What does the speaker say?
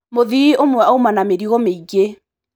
Mũthii ũmwe auma na mĩrigo mĩingi.